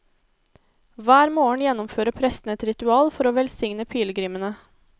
Hver morgen gjennomfører prestene et ritual for å velsigne pilegrimene.